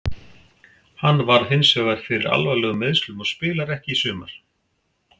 Hann varð hinsvegar fyrir alvarlegum meiðslum og spilar ekki í sumar.